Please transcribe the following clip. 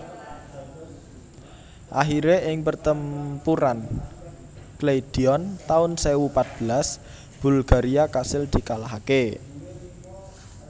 Akhiré ing Pertempuran Kleidion taun sewu pat belas Bulgaria kasil dikalahaké